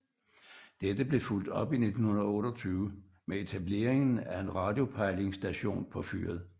Dette blev fulgt op i 1928 med etableringen af en radiopejlingsstation på fyret